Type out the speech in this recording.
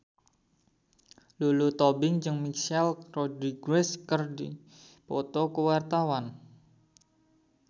Lulu Tobing jeung Michelle Rodriguez keur dipoto ku wartawan